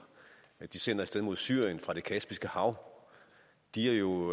de sender af sted mod syrien fra det kaspiske hav er jo